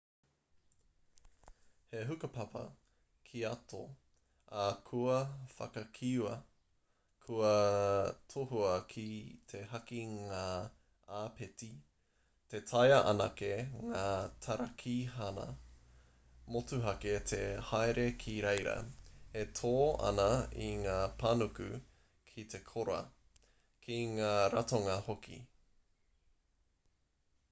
he hukapapa kīato ā kua whakakīia kua tohua ki te haki ngā āpiti ka taea anake ngā tarakihana motuhake te haere ki reira e tō ana i ngā panuku ki te kora ki ngā ratonga hoki